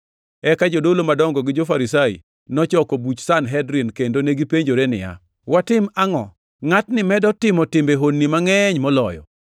Eka jodolo madongo gi jo-Farisai nochoko buch jo-Sanhedrin, kendo negipenjore niya, “Watim angʼo? Ngʼatni medo timo timbe honni mangʼeny moloyo.